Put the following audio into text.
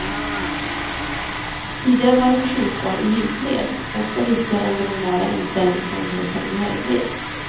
Tidigare var den förskjutbar i djupled, ofta viktigare än den normala inställningsmöljligheten i höjdled.